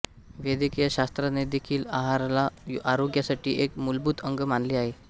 वैद्यकीय शास्त्रानेदेखील आहाराला आरोग्यासाठी एक मूलभूत अंग मानले आहे